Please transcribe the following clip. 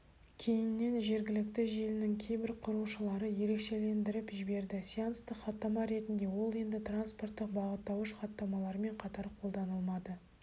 кейіннен жергілікті желінің кейбір құрушылары ерекшелендіріп жіберді сеанстық хаттама ретінде ол енді транспорттық бағыттауыш хаттамалармен қатар қолданылмады